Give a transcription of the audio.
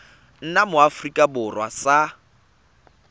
nna mo aforika borwa sa